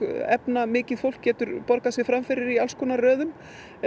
efnamikið fólk getur borgað sig fram fyrir í alls konar röðum